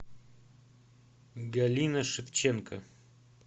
галина шевченко